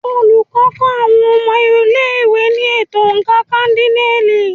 Olùkọ́ ń kọ́ àwọn ọmọ ilé-ìwé ní ètò oǹkà kádínààlì.